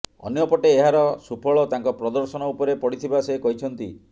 ଅନ୍ୟପଟେ ଏହାର ସୁଫଳ ତାଙ୍କ ପ୍ରଦର୍ଶନ ଉପରେ ପଡ଼ିଥିବା ସେ କହିଛନ୍ତି